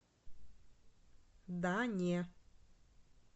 да не